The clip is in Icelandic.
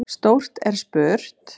Stórt er spurt!